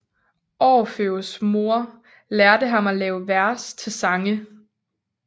Orfeus mor lærte ham at lave vers til sange